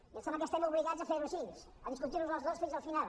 i em sembla que estem obligats a fer ho així a discutir los els dos fins al final